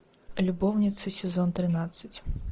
любовницы сезон тринадцать